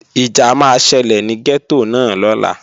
Ìjà máa ṣẹlẹ̀ ní gẹ́tò náà lọ́la